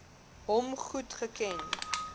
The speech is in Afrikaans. hom goed geken